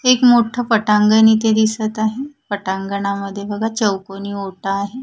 एक मोठं पटांगण इथे दिसत आहे पटांगनामध्ये बघा चौकोनी ओटा आहे.